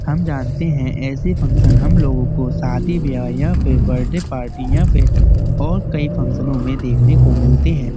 हम जानते है ऐसे फंक्शन हम लोगो को शादी व्याह या फिर बर्थडे पार्टी या फिर और कई फंक्शनों में देखने को मिलते हैं।